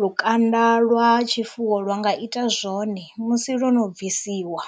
lukanda lwa tshifuwo lwa nga ita zwone musi lwo no bvisiwa.